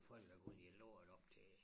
Folk er gået i lort op til